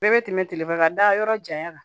Bɛɛ bɛ tɛmɛ telefɔni ka da yɔrɔ janya kan